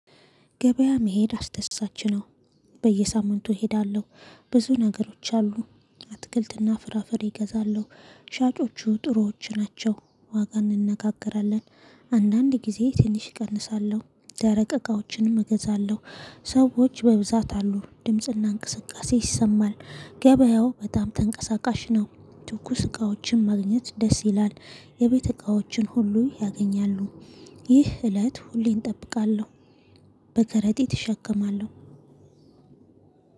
ገበያ መሄድ አስደሳች ነው። በየሳምንቱ እሄዳለሁ ብዙ ነገሮች አሉ። አትክልትና ፍራፍሬ እገዛለሁ። ሻጮቹ ጥሩዎች ናቸው ዋጋ እንነጋገራለን። አንዳንድ ጊዜ ትንሽ እቀንሳለሁ። ደረቅ እቃዎችንም እገዛለሁ። ሰዎች በብዛት አሉ ድምጽና እንቅስቃሴ ይሰማል። ገበያው በጣም ተንቀሳቃሽ ነው። ትኩስ እቃዎችን ማግኘት ደስ ይላል። የቤተ እቃዎችን ሁሉ ያገኛሉ። ይህ እለት ሁሌ እጠብቃለሁ። በከረጢት እሸከማለሁ